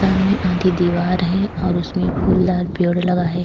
सामने आधी दीवार है और उसमें फूलदार पेड़ लगा है।